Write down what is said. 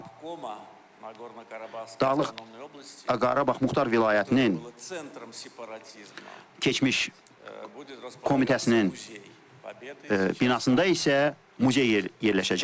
Və Dağlıq Qarabağ Muxtar Vilayətinin keçmiş komitəsinin binasında isə muzey yerləşəcəkdir.